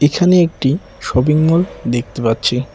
এখানে একটি শপিংমল দেখতে পাচ্ছি।